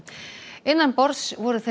innanborðs voru þeir